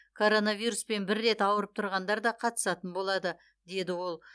коронавируспен бір рет ауырып тұрғандар да қатысатын болады деді ол